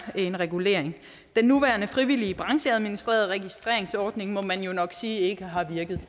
en regulering den nuværende frivillige brancheadministrerede registreringsordning må man jo nok sige ikke har virket